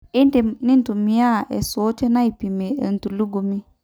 in`dim nintumia isuuoten aipimie entulugumi